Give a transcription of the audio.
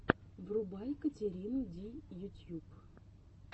врубай катерину ди ютьюб